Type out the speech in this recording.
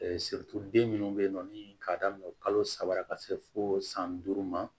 den minnu bɛ yen nɔ ni k'a daminɛ kalo saba ka se fo san duuru ma